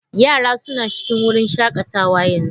Yara suna cikin wurin shakatawa a yanzu.